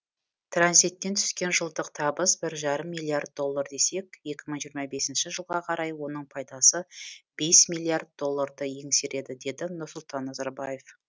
транзиттен түскен жылдық табыс бір жарым миллиард доллар десек екі мың жиырма бесінші жылға қарай оның пайдасы бес миллиард долларды еңсереді деді нұрсұлтан назарбаев